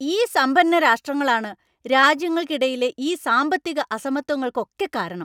ഈ സമ്പന്ന രാഷ്ട്രങ്ങളാണ് രാജ്യങ്ങൾക്കിടയിലെ ഈ സാമ്പത്തിക അസമത്വങ്ങൾക്കൊക്കെ കാരണം.